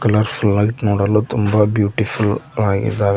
Colour full ಆಗಿ ನೋಡಲು ತುಂಬ ಬ್ಯೂಟಿಫುಲ್ ಆಗಿದ್ದಾವೆ.